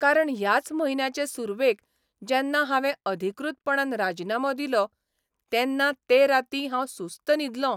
कारण ह्याच म्हयन्याचे सुरवेक जेन्ना हावें अधिकृतपणान राजिनामो दिलो तेन्ना ते रातीं हांव सुस्त न्हिदलों.